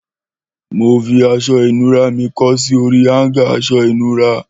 Mò fi aṣọ ìnura mi kọ́ sí òri háńgà aṣọ ìnura